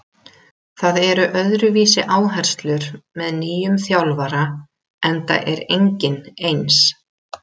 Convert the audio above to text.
Það eru öðruvísi áherslur með nýjum þjálfara enda er enginn eins.